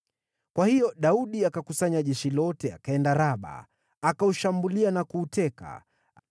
Kwa hiyo Daudi akakusanya jeshi lote akaenda Raba, akaushambulia na kuuteka.